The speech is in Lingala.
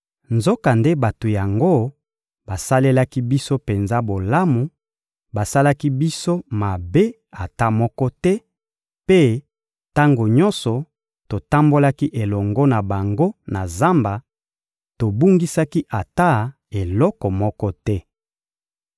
Nzokande bato yango basalelaki biso penza bolamu, basalaki biso mabe ata moko te, mpe, tango nyonso totambolaki elongo na bango na zamba, tobungisaki ata eloko moko te.